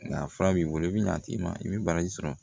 Nka fura b'i bolo i bɛ ɲa t'i ma i bɛ baraji sɔrɔ